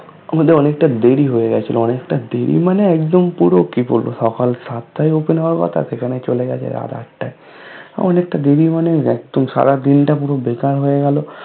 আমাদের অনেক টা দেরি হয়ে গেছিলো অনেক টা দেরি মানে একদম পুরো কি বলবো সকাল সাতটায় Open হওয়ার কথা সেখানে চলে গেছে রাত আটটায়